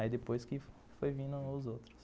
Aí depois que foi vindo os outros.